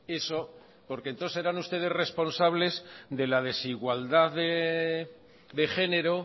eso porque entonces serán ustedes responsables de la desigualdad de género